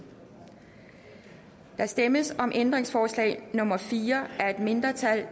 der stemmes om ændringsforslag nummer fire af et mindretal